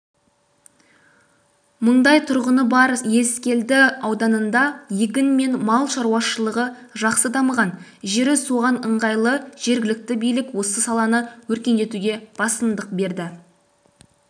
мыңдай тұрғыны бар ескелді ауданында егін мен мал шаруашылығы жақсы дамыған жері соған ыңғайлы жергілікті билік осы саланы өркендетуге басымдық берді